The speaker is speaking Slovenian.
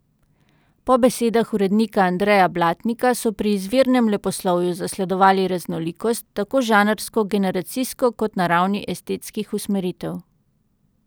Po besedah urednika Andreja Blatnika so pri izvirnem leposlovju zasledovali raznolikost, tako žanrsko, generacijsko kot na ravni estetskih usmeritev.